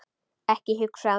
Ekki hugsa þig um.